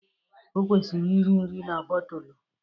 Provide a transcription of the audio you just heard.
Ọ kwụsịrị iri nri na bọtụlụ.